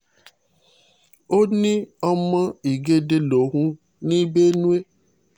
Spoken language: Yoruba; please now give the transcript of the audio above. ó ní ọmọ ìgẹ̀dẹ̀ lòun ní benue